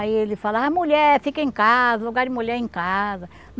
Aí ele falava, ah, mulher, fica em casa, lugar de mulher é em casa.